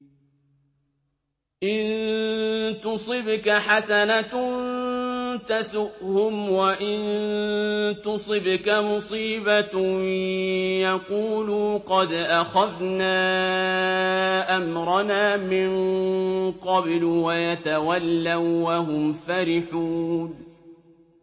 إِن تُصِبْكَ حَسَنَةٌ تَسُؤْهُمْ ۖ وَإِن تُصِبْكَ مُصِيبَةٌ يَقُولُوا قَدْ أَخَذْنَا أَمْرَنَا مِن قَبْلُ وَيَتَوَلَّوا وَّهُمْ فَرِحُونَ